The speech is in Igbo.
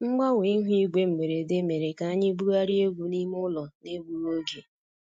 Mgbanwe ihu igwe mberede mere ka anyị bugharịa egwu n'ime ụlọ n'egbughị oge